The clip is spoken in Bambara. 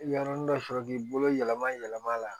Y yɔrɔnin dɔ sɔrɔ k'i bolo yɛlɛma yɛlɛma la